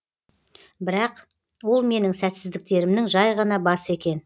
бірақ ол менің сәтсіздіктерімнің жай ғана басы екен